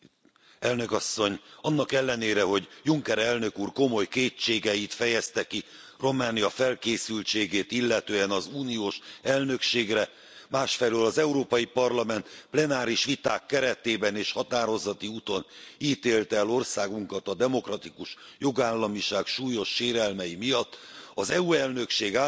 Tisztelt Elnök Asszony! Annak ellenére, hogy Juncker elnök úr komoly kétségeit fejezte ki Románia felkészültségét illetően az uniós elnökségre, másfelől az Európai Parlament plenáris viták keretében és határozati úton ítélte el országunkat a demokratikus jogállamiság súlyos sérelmei miatt, az EU elnökség